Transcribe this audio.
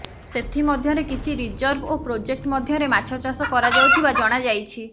ସେଥିମଧ୍ୟରେ କିଛି ରିଜର୍ଭ ଓ ପ୍ରୋଜେକ୍ଟ ମଧ୍ୟରେ ମାଛଚାଷ କରାଯାଉଥିବା ଜଣାଯାଇଛି